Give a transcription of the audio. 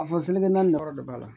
A fɔ selikɛlan ni yɔrɔ de b'a la